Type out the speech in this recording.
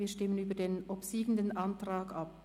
Wir stimmen über den obsiegenden Antrag ab.